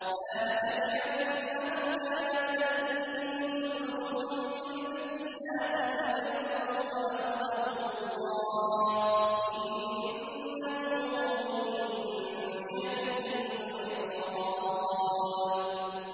ذَٰلِكَ بِأَنَّهُمْ كَانَت تَّأْتِيهِمْ رُسُلُهُم بِالْبَيِّنَاتِ فَكَفَرُوا فَأَخَذَهُمُ اللَّهُ ۚ إِنَّهُ قَوِيٌّ شَدِيدُ الْعِقَابِ